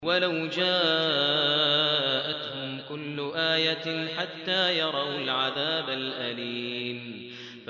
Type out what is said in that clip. وَلَوْ جَاءَتْهُمْ كُلُّ آيَةٍ حَتَّىٰ يَرَوُا الْعَذَابَ الْأَلِيمَ